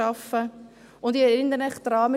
Ich erinnere Sie daran: